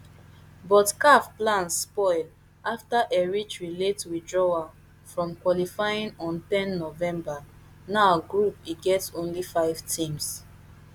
but caf plans spoil afta eritrea late withdrawal from qualifying on ten november now group e get only five teams